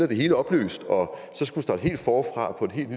det hele opløst og